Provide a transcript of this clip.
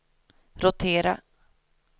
rotera